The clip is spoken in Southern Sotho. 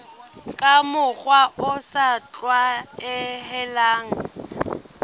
ka mokgwa o sa tlwaelehang